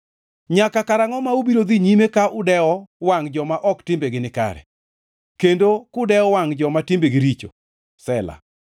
Nyaka karangʼo ma ubiro dhi nyime ka udewo wangʼ joma ok timbegi nikare kendo kudewo wangʼ joma timbegi richo? Sela